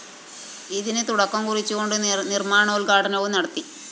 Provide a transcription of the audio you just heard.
ഇതിന് തുടക്കം കുറിച്ച്ുകൊണ്ട് നിര്‍മ്മാണോത്ഘാടനവും നടത്തി